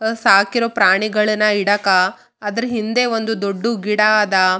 ಇಲ್ಲಿ ಭೂಮಿಯ ಮೇಲೆ ಚಿಕ್ಕಚಿಕ್ಕ ಗಿಡಗಳು ನೋಡುವದಲ್ಲಿ ಸಿಗುತ್ತದೆ ಇಲ್ಲಿ ಮಕ್ಕಳು ಕುಳಿತುಕೊಂಡಿದ್ದಾರೆ.